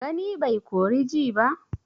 Gani bai kori ji ba?